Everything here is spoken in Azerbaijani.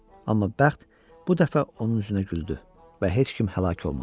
Amma bəxt bu dəfə onun üzünə güldü və heç kim həlak olmadı.